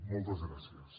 moltes gràcies